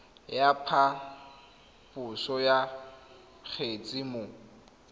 ya phaposo ya kgetse mo